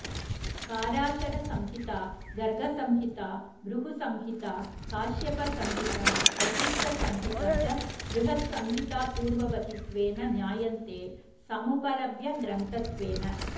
पाराशरसंहिता गर्गसंहिता भृगुसंहिता काश्यपसंहिता वसिष्ठसंहिता च बृहत्संहितापूर्ववतित्वेन ज्ञायन्ते समुपलभ्यग्रन्थत्वेन